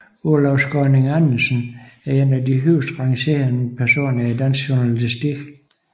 Olav Skaaning Andersen er en af de højst rangerende personer i dansk journalistik